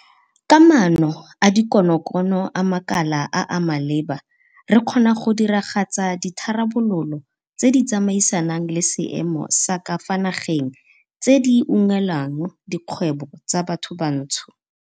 Ka maano a dikonokono a makala a a maleba re kgona go diragatsa ditharabololo tse di tsamaisanang le seemo sa ka fa nageng tse di unngwelang dikgwebo tsa bathobantsho.